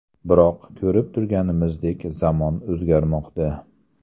Biroq, ko‘rib turganimizdek, zamon o‘zgarmoqda.